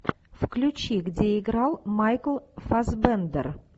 включи где играл майкл фассбендер